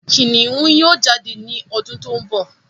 Kìnìún yóò jáde ní ọdún tó ń bọ̀